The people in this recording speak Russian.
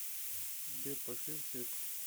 сбер пошли в цирк